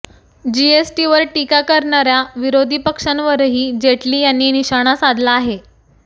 जीएसटीवर टीका करणाऱया विरोधी पक्षांवरही जेटली यांनी निशाणा साधला आहे